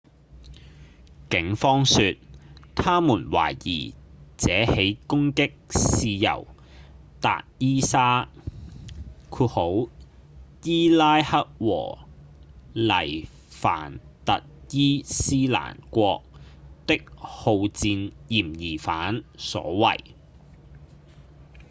警方說他們懷疑這起攻擊是由達伊沙伊拉克和黎凡特伊斯蘭國的好戰嫌疑犯所為